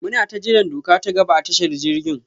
munata jiran doka ta gaba a tashar jirgin.